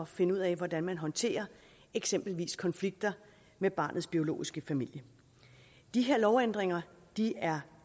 finde ud af hvordan man håndterer eksempelvis konflikter med barnets biologiske familie de her lovændringer er